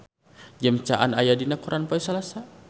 James Caan aya dina koran poe Salasa